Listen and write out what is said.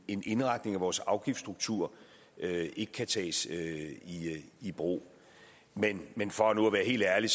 en indretning af vores afgiftsstruktur ikke kan tages i brug men men for nu at være helt ærlig